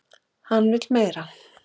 Hann vill meira!